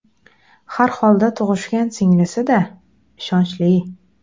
Har holda tug‘ishgan singlisi-da, ishonchli.